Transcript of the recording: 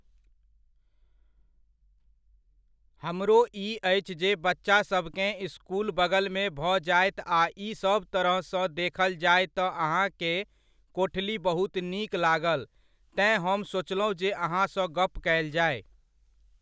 हमरो ई अछि जे बच्चा सभकेँ इसकुल बगलमे भऽ जायत आ ई सब तरहसंँ देखल जाय तऽ अहाँकेँ कोठली बहुत नीक लागल तेँ हम सोचलहुँ जे अहाँसंँ गप कयल जाय।